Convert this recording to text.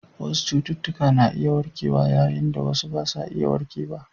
Wasu cututtuka na iya warkewa yayin da wasu ba za su iya warkewa ba.